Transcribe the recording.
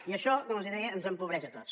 i això com els deia ens empobreix a tots